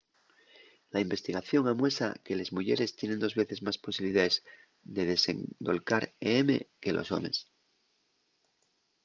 la investigación amuesa que les muyeres tienen dos veces más posibilidaes de desendolcar em que los homes